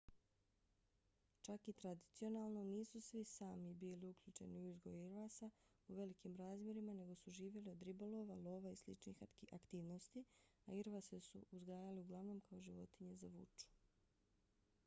čak i tradicionalno nisu svi sámi bili uključeni u uzgoj irvasa u velikim razmjerima nego su živjeli od ribolova lova i sličnih aktivnosti a irvase su uzgajali uglavnom kao životinje za vuču